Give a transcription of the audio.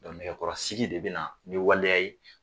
nɛgɛkɔrɔsigi de bɛna nin waleya ye